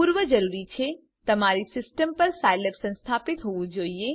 પૂર્વ જરૂરી છે તમારી સીસ્ટમ પર સાયલેબ સંસ્થાપિત હોવું જોઈએ